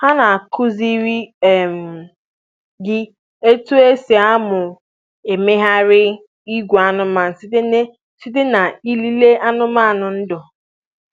Ha na-akụziri um gị otú e si amụ mmegharị ìgwè anụmanụ site n'ilele anụmanụ ndu.